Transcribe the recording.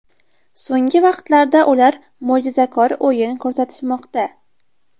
So‘nggi vaqtlarda ular mo‘jizakor o‘yin ko‘rsatishmoqda.